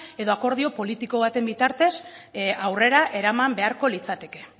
edo akordio politiko baten bitartez aurrera eraman beharko litzateke